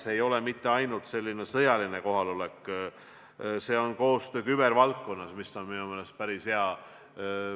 See ei ole mitte ainult otsene sõjaline kohalolek, see on ka koostöö kübervaldkonnas, mis on minu meelest päris hea.